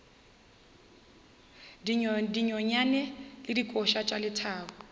dinonyane le dikoša tša lethabo